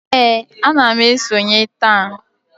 Ee, ana m esonye taa